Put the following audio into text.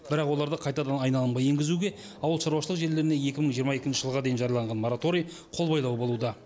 бірақ оларды қайтадан айналымға енгізуге ауылшаруашылық жерлеріне екі мың жиырма екінші жылға дейін жарияланған мораторий қолбайлау болуда